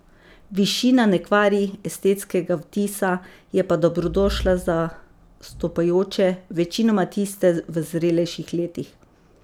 Višina ne kvari estetskega vtisa, je pa dobrodošla za vstopajoče, večinoma tiste v zrelejših letih.